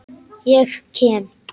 Ég kem.